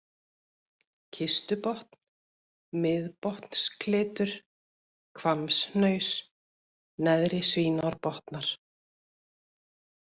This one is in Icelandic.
Kistubotn, Miðbotnsklitur, Hvammshnaus, Neðri-Svínárbotnar